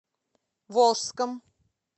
волжском